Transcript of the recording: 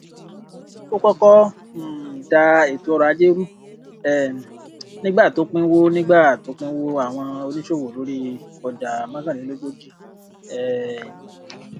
ó kọkọ um da ètò ọrọajé rú um nígbà tó pinwọ nígbà tó pinwọ àwọn oníṣòwò lórí ọjà mọkànlélógójì um